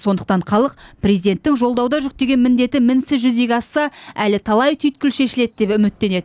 сондықтан халық президенттің жолдауда жүктеген міндеті мінсіз жүзеге асса әлі талай түйткіл шешіледі деп үміттенеді